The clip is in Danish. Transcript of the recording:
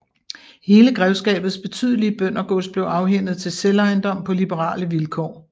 Hele grevskabets betydelige bøndergods blev afhændet til selvejendom på liberale vilkår